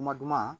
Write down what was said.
Kuma duman